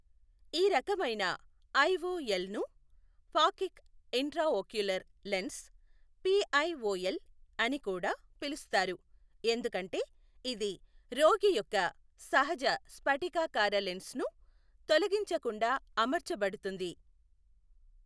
ఈ రకమైన ఐఓఎల్ను ఫాకిక్ ఇంట్రాఓక్యులర్ లెన్స్, పిఐఓఎల్, అని కూడా పిలుస్తారు, ఎందుకంటే ఇది రోగి యొక్క సహజ స్ఫటికాకార లెన్స్ను తొలగించకుండా అమర్చబడుతుంది.